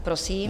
Prosím.